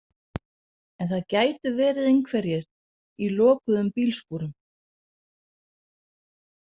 En það gætu verið einhverjir í lokuðum bílskúrum.